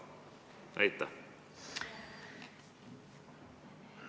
Aitäh küsimuse eest!